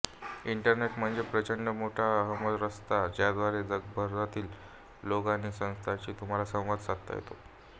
internet म्हणजे प्रचंड मोठा हमरस्ता ज्याद्वारे जगभरातील लोक आणि संस्थांशी तुम्हाला संवाद साधता येतो